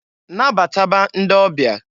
Nabataba ndị ọbịa!